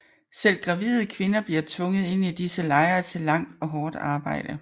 Selv gravide kvinder bliver tvunget ind i disse lejre til langt og hårdt arbejde